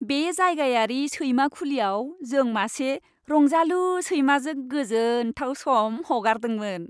बे जायगायारि सैमा खुलियाव जों मासे रंजालु सैमाजों गोजोनथाव सम हगारदोंमोन।